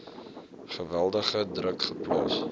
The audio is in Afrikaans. geweldige druk geplaas